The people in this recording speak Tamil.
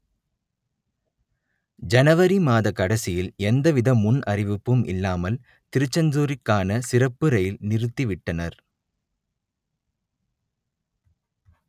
ஜனவரி மாத கடைசியில் எந்தவித முன் அறிவிப்பும் இல்லாமல் திருச்செந்தூருக்கான சிறப்பு ரயில் நிறுத்திவிட்டனர்